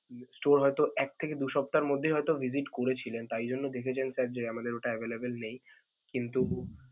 store হয়তো এক থেকে দু' সপ্তাহর মধ্যে হয়তো visit করেছিলেন, তাই জন্য দেখেছেন sir যে আমাদের ওটা available নেই কিন্তু.